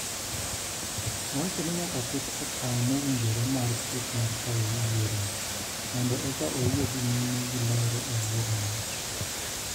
Owacho ni nyaka ket okang` mowinjore mar chik mar tayo yiero mondo eka oyie dhi nyime gi lero e yierono.